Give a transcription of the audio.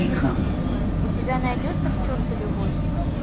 у тебя найдется к черту любовь